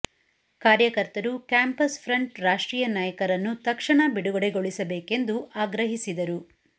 ಕಾರ್ಯಕರ್ತರು campus front ರಾಷ್ಟ್ರೀಯ ನಾಯಕರನ್ನು ತಕ್ಷಣ ಬಿಡುಗಡೆ ಗೊಳಿಸಬೇಕೆಂದು ಆಗ್ರಹಿಸಿದರು